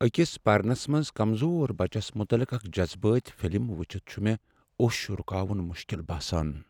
اكِس پرنس منز كمزور بچس متعلق اکھ جذبٲتی فلم وٕچھتھ چھٗ مےٚ اوٚش رٗکاون مشکل باسان۔